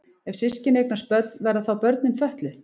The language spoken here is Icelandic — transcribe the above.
Ef systkini eignast börn verða þá börnin fötluð?